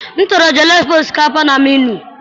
M họọrọ jollof osikapa na menuu.